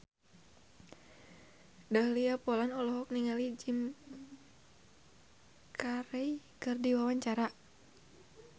Dahlia Poland olohok ningali Jim Carey keur diwawancara